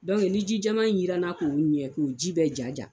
ni ji jɛman in jirana k'olu ɲɛ k'o ji bɛɛ ja ja